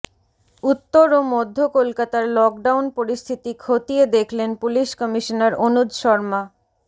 উত্তর ও মধ্য কলকাতার লকডাউন পরিস্থিতি খতিয়ে দেখলেন পুলিশ কমিশনার অনুজ শর্মা